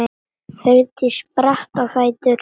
Hjördís spratt á fætur.